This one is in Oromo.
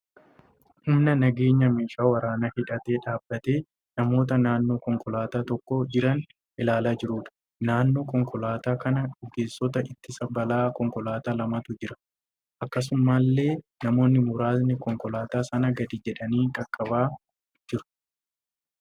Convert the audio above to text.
Humna nageenyaa meeshaa waraanaa hidhatee dhaabbatee namoota naannoo konkolaataa tokko jiran ilaalaa jiruudha. Naannoo konkolaataa kanaa ogeessota ittisa balaa konkolaataa lamatu jira. Akkasumallee namoonni muraasni konkolaataa sana gadi jedhanii qaqabaa jiru.